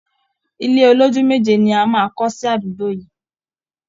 Ilé olójúlé méje ni a máa kọ́ sí àdúgbò yìí